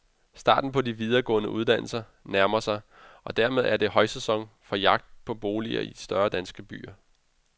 Starten på de videregående uddannelser nærmer sig, og dermed er det højsæson for jagt på boliger i de større danske byer.